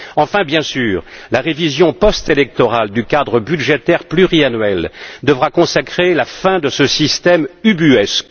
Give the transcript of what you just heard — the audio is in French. Enfin, bien sûr, la révision post électorale du cadre budgétaire pluriannuel devra consacrer la fin de ce système ubuesque.